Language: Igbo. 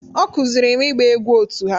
Ọ kụziiri m ịgba egwú otu ha